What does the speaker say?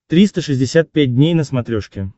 триста шестьдесят пять дней на смотрешке